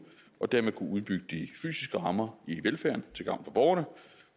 og dermed kunnet udbygge de fysiske rammer i velfærden til gavn for borgerne